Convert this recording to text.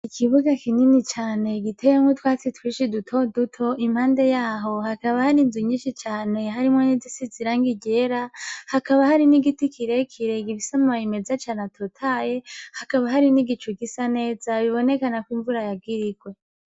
Ikibuga kinini cane igiteyemwo utwatsi twishi duto duto impande yaho hakaba hari inzu nyinshi cane harimwo n'idisi zirangi iryera hakaba hari n'igiti kirekirega ibisamaaye imeza cane atotaye hakaba hari n'igicu gisa neza bibonekanako imvura yagirirwe.